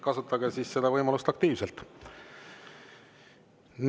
Kasutage siis seda võimalust aktiivselt.